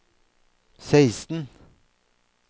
seksten